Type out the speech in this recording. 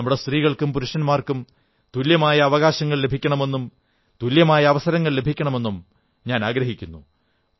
നമ്മുടെ സ്ത്രീകൾക്കും പുരുഷന്മാർക്കു തുല്യമായ അവകാശങ്ങൾ ലഭിക്കണമെന്നും തുല്യമായ അവസരങ്ങൾ ലഭിക്കണമെന്നും ഞാനാഗ്രഹിക്കുന്നു